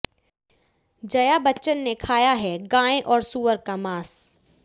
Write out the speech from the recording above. जया बच्चन ने खाया है गाय और सूअर का मांस